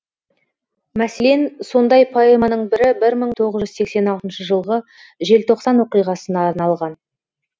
мәселен сондай поэманың бірі бір мың тоғыз жүз сексен алтыншы жылғы желтоқсан оқиғасына арналған